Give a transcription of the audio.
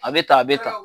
A bɛ ta a bɛ ta